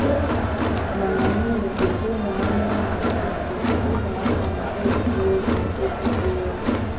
Ị na - anụ ubé ụmụ anụmanụ na ụzụ ụmụaka na - egwurị egwu egwurị egwu.